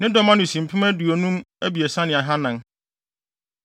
Ne dɔm ano si mpem aduonum abiɛsa ne ahannan (53,400).